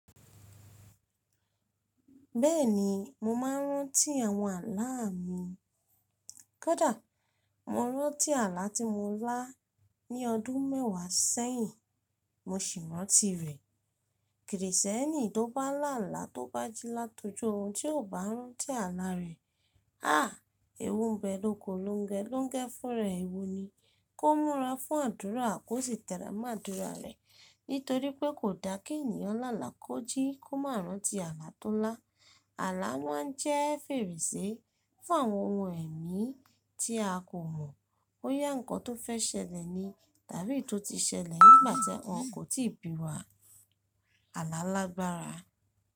Bẹ́ẹ̀ni, mo máa ń rántí àwọn àlá a mi. Kódà mo rántí àlá tí mo lá ní ọdún mẹ́wàá sẹ́yìn, mo sì rántí rẹ̀. Krìsìtẹ́nì tó bá lá àlá tó bá jí látojú orun, tí ò bá rántí àlá rẹ̀, ah! Èwu ńbẹ lóko longẹ, longẹ fún ra rẹ̀, èwu ni. Kó múra fún àdúrà kó sì tẹra mọ́ àdúrà rẹ̀. Nítorí pé kò dá kí ènìyàn lá àlá kó jí kó má rántí àlá tó lá. Àlá máà n jẹ́ fèrèsé fún àwọn ohun ẹ̀mí tí a kò mọ̀, bóyá nǹkan tó fẹ́ ṣẹlẹ̀ ni tàbí eyi tó ti ṣẹlẹ̀ nígbàtí wọ́n kò o tí ì bí wa. Àlá lágbára.